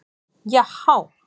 Já há!